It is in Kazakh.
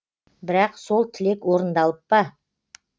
бірақ сол тілек орындалып па